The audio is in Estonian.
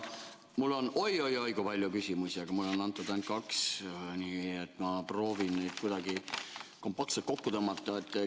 Mul on oi-oi-oi kui palju küsimusi, aga mulle on antud ainult kaks, nii et ma proovin neid kuidagi kompaktselt kokku tõmmata.